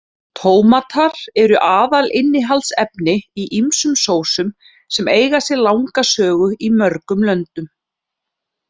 Tómatar eru aðalinnihaldsefni í ýmsum sósum sem eiga sér langa sögu í mörgum löndum.